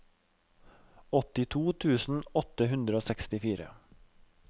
åttito tusen åtte hundre og sekstifire